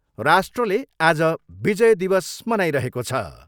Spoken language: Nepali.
राष्ट्रले आज विजय दिवस मनाइरहेको छ।